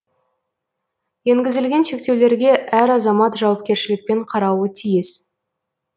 енгізілген шектеулерге әр азамат жауапкершілікпен қарауы тиіс